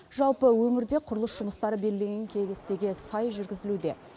жалпы өңірде құрылыс жұмыстары белгіленген кестеге сай жүргізілуде